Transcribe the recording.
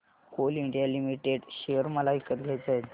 Coal India Limited share मला विकत घ्यायचे आहेत